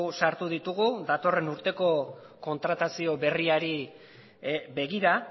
sartu ditugu datorren urteko kontratazio berriari begira